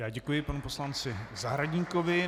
Já děkuji panu poslanci Zahradníkovi.